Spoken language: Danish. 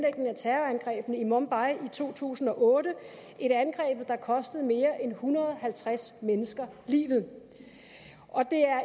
af terrorangrebene i mumbai i to tusind og otte et angreb der kostede mere end en hundrede og halvtreds mennesker livet og det er